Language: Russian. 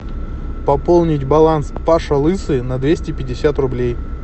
пополнить баланс паша лысый на двести пятьдесят рублей